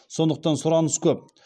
сондықтан сұраныс көп